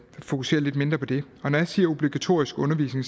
fokusere lidt mindre på det når jeg siger obligatorisk undervisning